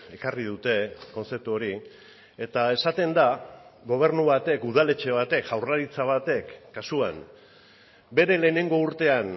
ekarri dute kontzeptu hori eta esaten da gobernu batek udaletxe batek jaurlaritza batek kasuan bere lehenengo urtean